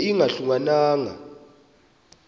ibe ingahluka nanga